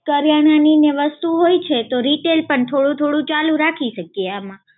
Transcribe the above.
કરિયાણા ની ને વસ્તુ હોય છે, તો retail પણ થોડું થોડું ચાલુ રાખી શકીએ આમાં.